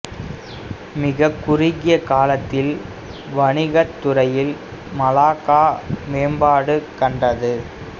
மிகக் குறுகிய காலத்தில் வணிகத் துறையில் மலாக்கா மேம்பாடு கண்டது